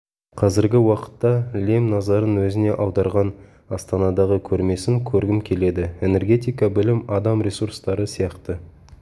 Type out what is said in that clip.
қазіргі уақытта лем назарын өзіне аударған астанадағы көрмесін көргім келеді энергетика білім адам ресурстары сияқты